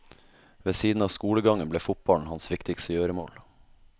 Ved siden av skolegangen ble fotballen hans viktigste gjøremål.